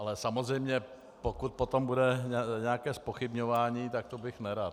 Ale samozřejmě pokud potom bude nějaké zpochybňování, tak to bych nerad.